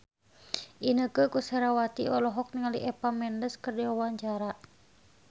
Inneke Koesherawati olohok ningali Eva Mendes keur diwawancara